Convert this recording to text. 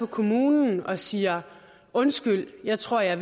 kommunen og siger undskyld jeg tror jeg